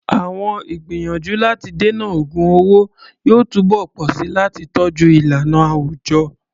Àwọn ìgbìyànjú láti dènà ògun owó yóò túbọ̀ pọ̀ sí i láti tọ́jú ìlànà àwùjọ.